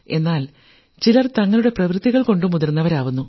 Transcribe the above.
എന്നാൽ ചിലർ തങ്ങളുടെ പ്രവർത്തികൾകൊണ്ട് മുതിർന്നവരാകുന്നു